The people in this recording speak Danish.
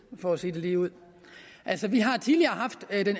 for at sige det ligeud altså vi har tidligere